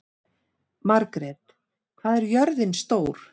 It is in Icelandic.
Margret, hvað er jörðin stór?